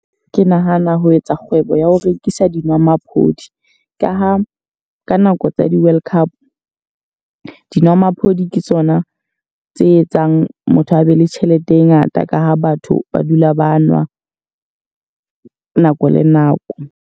Ke nahana ho etsa kgwebo ya ho rekisa di nwamaphodi. Ka ha ka nako tsa di-World Cup, dinwamaphodi ke tsona tse etsang motho a be le tjhelete e ngata. Ka ha batho ba dula ba nwa nako le nako.